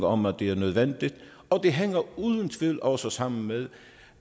om at det er nødvendigt og det hænger uden tvivl også sammen med